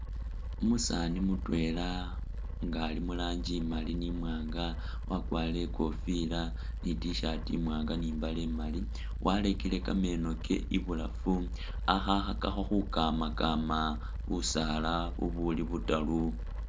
Umusaani mutwela nga Ali muranji imali ni imwanga wakwarire ikofila ni i'tshirt imwanga ni imbaale imali ,warekele kameeno ke ibulafu akhakhakakho khukamakama busaala bubuli butaru